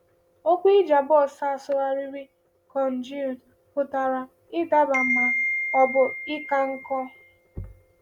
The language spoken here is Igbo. Okwu Ijabos a sụgharịrị “congealed” pụtara ịdaba ma ọ bụ ịka nkọ.